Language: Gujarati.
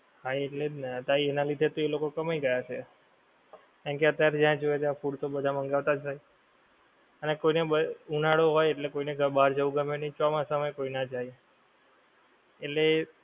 હા એટલે જ ને એનાં લીધે જ તો એ લોકો કમાઈ ગયાં છે. કારણ કે અત્યારે જ્યાં જોઈએ ત્યાં food તો બધા મંગાવતાજ હોય. અને કોઈને ઉનાળો હોય એટલે કોઈને બહાર જવું ગમે નહિ અને ચોમાસા માં એ કોઈ ના જાય, એટલે,